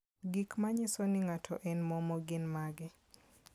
Gik manyiso ni ng'ato en momo gin mage?